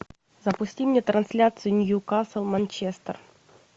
запусти мне трансляцию ньюкасл манчестер